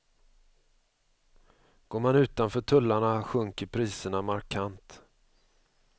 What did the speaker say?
Går man utanför tullarna sjunker priserna markant.